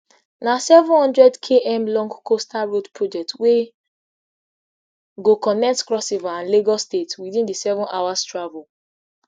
na seven hundredkm long costal road project wey go connect crossriver and lagos states witin sevenhours travel